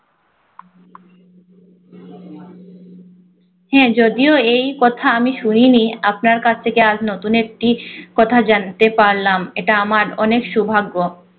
হ্যাঁ যদিও এই কথা আমি শুনিনি আপনার কাছ থেকে আজ নতুন একটি কথা জানতে পারলাম, এটা আমার অনেক সৌভাগ্য।